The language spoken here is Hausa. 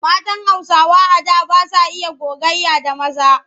Matan Hausawa a da ba sa iya gogayya da maza.